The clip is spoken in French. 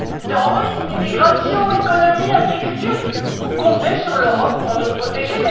Terrorisme, immigration, économie, agriculture, vous comptez sur l'Europe pour nous protéger.